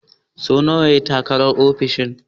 So nawa ya yi takarar ofishin?